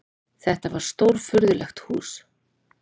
Þetta var stórfurðulegt hús.